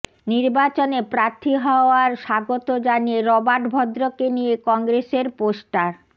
নির্বাচনে প্রার্থী হওয়ার স্বাগত জানিয়ে রবার্ট ভদ্রকে নিয়ে কংগ্রেসের পোস্টার